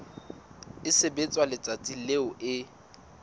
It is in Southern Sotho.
e sebetswa letsatsing leo e